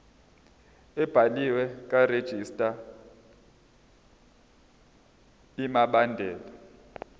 ebhaliwe karegistrar imibandela